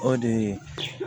O de ye